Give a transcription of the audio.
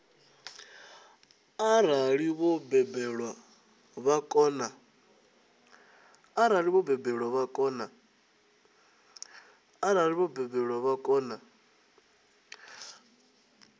arali vho balelwa vha kona